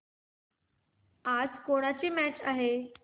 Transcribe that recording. आज कोणाची मॅच आहे